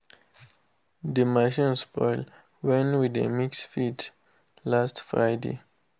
the machine spoil when we dey mix feed last friday.